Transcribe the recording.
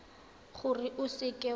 gore o seka w a